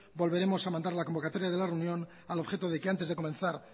volveremos a mandar la convocatoria de la reunión al objeto de que antes de comenzar